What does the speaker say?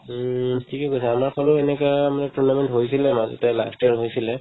উম, থিকে কৈছা আমাৰ ফালেও এনেকুৱা মানে tournament হৈছিলে মাজতে last year হৈছিলে